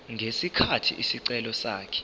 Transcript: ngesikhathi isicelo sakhe